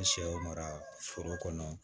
Ni sɛw mara foro kɔnɔ